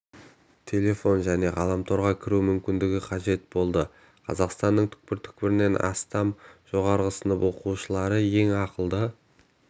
телефон және ғаламторға кіру мүмкіндігі қажет болды қазақстанның түкпір-түкпірінен астам жоғарғы сынып оқушылары ең ақылды